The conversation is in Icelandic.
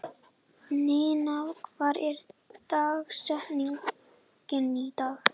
Ninna, hver er dagsetningin í dag?